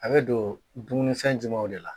A bɛ don dumuni fɛn jumanw de la?